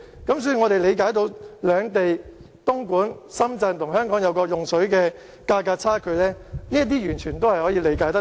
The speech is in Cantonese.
所以，我們理解為何東莞、深圳和香港在用水價格上存在差距，這些完全是可以理解的。